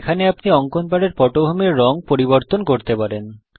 এখানে আপনি অঙ্কন প্যাডের পটভূমির রঙ পরিবর্তন করতে পারেন